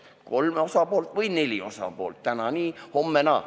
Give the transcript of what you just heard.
Kolm osapoolt või neli osapoolt – täna nii, homme naa.